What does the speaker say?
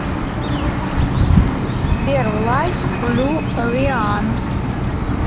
сбер лайт блю риан